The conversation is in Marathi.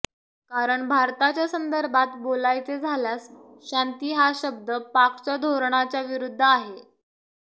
कारण भारताच्या संदर्भात बोलायचे झाल्यास शांती हा शब्द पाकच्या धोरणाच्या विरुद्ध आहे